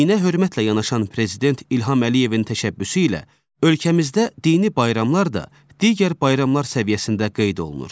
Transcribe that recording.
Dinə hörmətlə yanaşan prezident İlham Əliyevin təşəbbüsü ilə ölkəmizdə dini bayramlar da digər bayramlar səviyyəsində qeyd olunur.